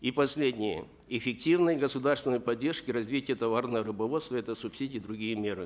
и последнее эффективная государственная поддержка развития товарного рыбоводства это субсидии и другие меры